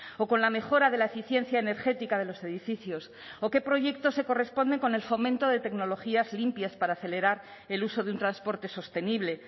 o con la mejora de la eficiencia energética de los edificios o qué proyectos se corresponden con el fomento de tecnologías limpias para acelerar el uso de un transporte sostenible